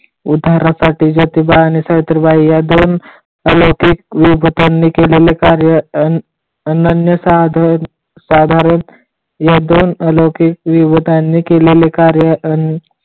उद्धारासाठी ज्योतिबा आणि सावित्रीबाई या दोन अलौकिक युवकांनी केलेली कार्य अनन्य साधारण या दोन अलौकिक युवकांनी केलेली कार्य